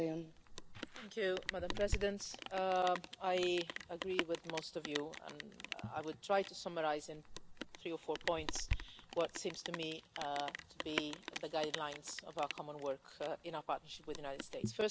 Madam President, I agree with most of you and I will try to summarise in three or four points what seem to me to be the guidelines of our common work in our partnership with the United States.